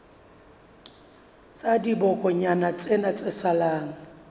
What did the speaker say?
la dibokonyana tsena tse salang